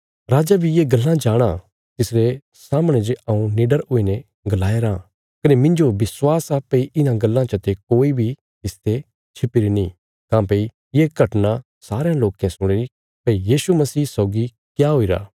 राजा बी ये गल्लां जाणाँ तिसरे सामणे जे हऊँ निडर हुईने गलाया राँ कने मिन्जो विश्वास आ भई इन्हां गल्लां चते कोई बी तिसते छिपीरी नीं काँह्भई ये घटना सारयां लोके सुणिरी भई यीशु मसीह सौगी क्या हुईरा